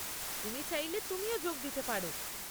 তুমি চাইলে তুমিও যোগ দিতে পার।